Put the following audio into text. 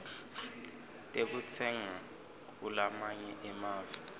tekutsenga kulamanye emave